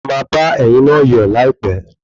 A maá ba ẹ̀yin na yọ̀ láìpé